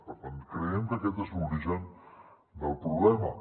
per tant creiem que aquest és l’origen del problema